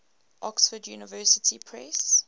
oxford university press